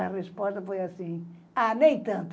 A resposta foi assim... Ah, nem tanto.